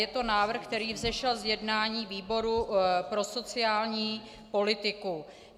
Je to návrh, který vzešel z jednání výboru pro sociální politiku.